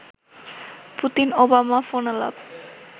Putin-Obama ফোনালাপ